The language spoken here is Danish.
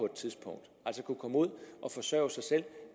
et tidspunkt altså kunne komme ud og forsørge sig selv